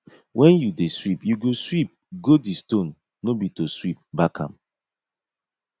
when you dey sweep you go sweep go di stone no be to sweep back am